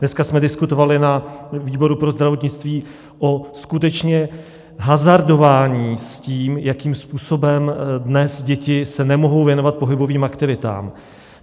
Dneska jsme diskutovali na výboru pro zdravotnictví o skutečně hazardování s tím, jakým způsobem dnes děti se nemohou věnovat pohybovým aktivitám.